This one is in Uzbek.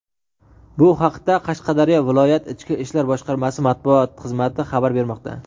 Bu haqda Qashqadaryo viloyat Ichki ishlar boshqarmasi matbuot xizmati xabar bermoqda.